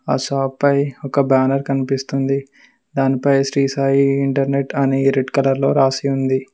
ఆ షాప్ పై ఒక బ్యానర్ కనిపిస్తుంది దాని పై శ్రీ సాయి ఇంటర్నెట్ అని రెడ్ కలర్ లో రాసి ఉంది.